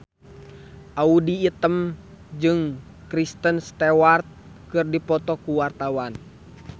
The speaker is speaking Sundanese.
Audy Item jeung Kristen Stewart keur dipoto ku wartawan